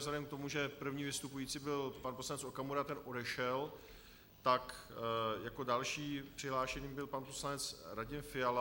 Vzhledem k tomu, že první vystupující byl pan poslanec Okamura, ten odešel, tak jako další přihlášený byl pan poslanec Radim Fiala.